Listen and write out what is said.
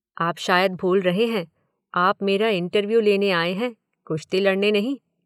आप शायद भूल रहे हैं, आप मेरा इंटरव्यू लेने आए हैं, कुश्ती लड़ने नहीं।